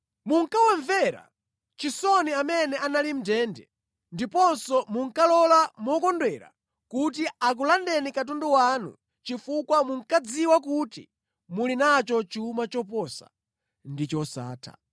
Munkawamvera chisoni amene anali mʼndende ndiponso munkalola mokondwera kuti akulandeni katundu wanu chifukwa munkadziwa kuti muli nacho chuma choposa ndi chosatha.